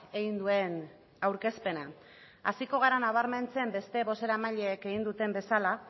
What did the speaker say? egin duen aurkezpena hasiko gara nabarmentzen beste bozeramaileek egin duten bezala